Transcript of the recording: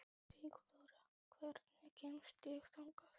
Sigþóra, hvernig kemst ég þangað?